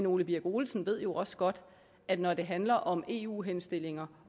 ole birk olesen ved jo også godt at når det handler om eu henstillinger